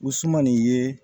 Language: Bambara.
U sumani ye